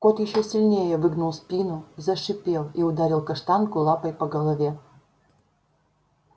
кот ещё сильнее выгнул спину зашипел и ударил каштанку лапой по голове